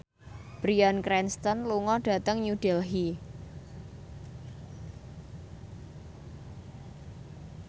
Bryan Cranston lunga dhateng New Delhi